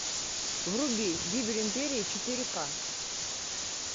вруби гибель империи четыре ка